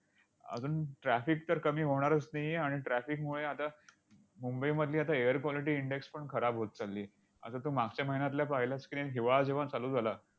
अजून traffic तर कमी होणारच नाही आहे, आणि traffic मुळे आता मुंबईमधली आता air quality index पण खराब होत चाललीय. आता तू मागच्या महिन्यातला पाहिलास की नाही? हिवाळा जेव्हा चालू झाला,